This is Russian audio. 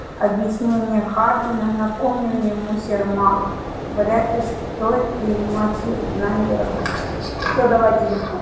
объяснения хардина напомнил ему сермак вряд ли стоит принимать на веру всё давай телефон